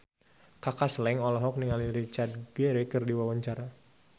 Kaka Slank olohok ningali Richard Gere keur diwawancara